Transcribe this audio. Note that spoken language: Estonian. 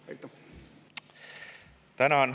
Tänan!